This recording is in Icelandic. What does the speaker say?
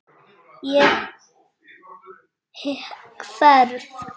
Ég hverf.